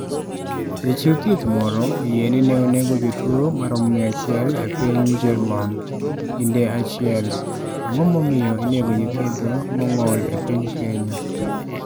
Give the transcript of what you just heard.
Ja chiw thieth moro oyie ni ne onego jotuo maromo 100 e piny jerman. kinde achiel. Ang'o momiyo inego nyithindo mong'ol e piny Kenya?